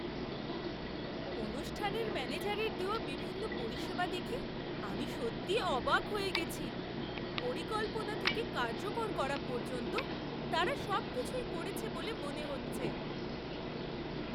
অনুষ্ঠানের ম্যানেজারের দেওয়া বিভিন্ন পরিষেবা দেখে আমি সত্যিই অবাক হয়ে গেছি পরিকল্পনা থেকে কার্যকর করা পর্যন্ত, তারা সবকিছুই করেছে বলে মনে হচ্ছে!